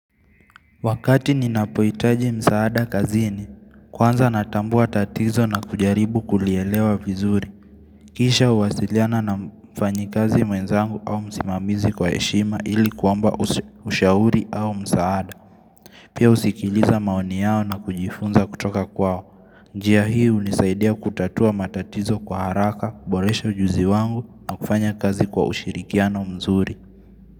Wakati ninapoitaji msaada kazini, kwanza natambua tatizo na kujaribu kulielewa vizuri. Kisha uwasiliana na mfanyi kazi mwenzangu au msimamizi kwa heshima ili kuomba ushauri au msaada. Pia usikiliza maoni yao na kujifunza kutoka kwao. Njia hii unisaidia kutatua matatizo kwa haraka, kuboresha ujuzi wangu na kufanya kazi kwa ushirikiano mzuri.